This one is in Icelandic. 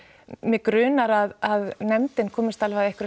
mig grunar að nefndin komist alveg að einhverri